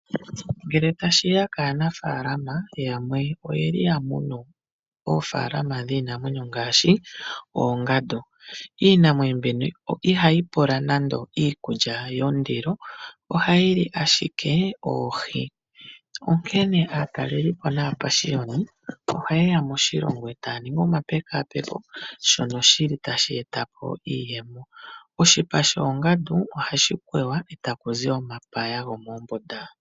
Ngele tashi ya kaanafaalama yamwe oya munu oofaalama dhiinamwenyo ngaashi oongandu. Iinamwenyo mbino ihayi pula nando iikulya yondilo, ohayi li ashike oohi. Onkene aatalelipo naapashiyoni ohaye ya moshilongo e taya ningi omapekapeko, shono tashi eta iiyemo. Oshipa shoongandu ohashi kweywa e ta ku zi omapaya gomombunda.